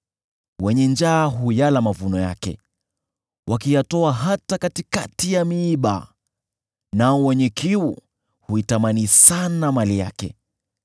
Wenye njaa huyala mavuno yake, wakiyatoa hata katikati ya miiba, nao wenye kiu huitamani sana mali yake.